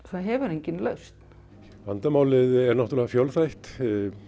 það hefur enginn lausn vandamálið er fjölþætt